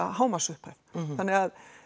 hámarksupphæð